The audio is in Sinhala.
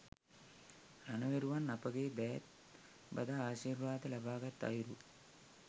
රණවිරුවන් අපගේ දෑත් බදා ආශීර්වාද ලබාගත් අයුරු